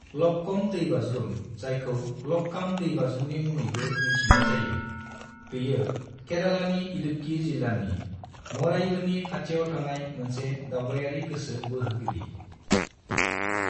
लक्कम दैबाज्रुम, जायखौ लक्काम दैबाज्रुमनि मुङैबो मिन्थिनाय जायो, बेयो केरेलानि इडुक्की जिल्लानि मरायूरनि खाथियाव थानाय मोनसे दावबायारि गोसो बोहोगिरि।